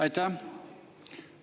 Aitäh!